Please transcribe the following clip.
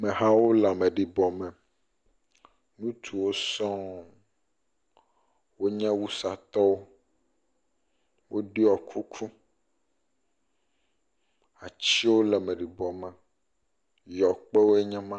Amewo le ameɖibɔ me. Ŋutsuwo sɔŋ. Wonye wusatɔwo, wo ɖɔ kuku. Atsiwo le ameɖibɔ me, yɔkpewoe nye ma.